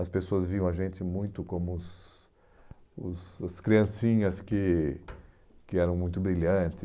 As pessoas viam a gente muito como os os as criancinhas que que eram muito brilhantes.